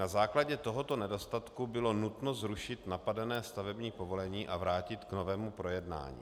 Na základě tohoto nedostatku bylo nutno zrušit napadené stavební povolení a vrátit k novému projednání.